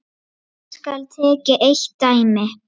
Hér skal tekið eitt dæmi.